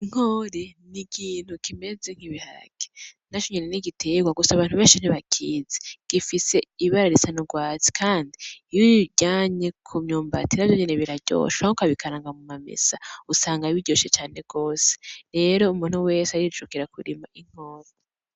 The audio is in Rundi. Inkore n'ikintu kimeze nki biharage gusa abantu beshi ntibakizi gifise ibara risa n'urwatsi kandi iyo uyiryanye ku myumbati navyo nyene biraryoshe canke ukabikaranga mu mamesa usanga biryoshe cane gose rero umuntu wese arijukira ku rima inkore.